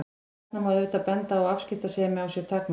Þarna má auðvitað benda á að afskiptasemi á sér takmörk.